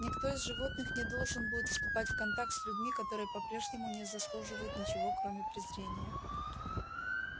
никто из животных не должен будет вступать в контакт с людьми которые по-прежнему не заслуживают ничего кроме презрения